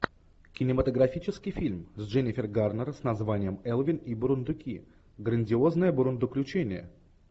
кинематографический фильм с дженнифер гарнер с названием элвин и бурундуки грандиозное бурундуключение